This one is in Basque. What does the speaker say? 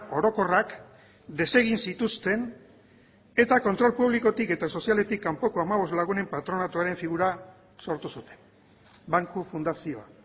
orokorrak desegin zituzten eta kontrol publikotik eta sozialetik kanpoko hamabost lagunen patronatuaren figura sortu zuten banku fundazioa